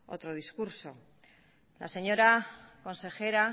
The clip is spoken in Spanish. otro discurso la señora consejera